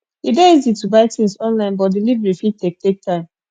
e dey easy to buy things online but delivery fit take take time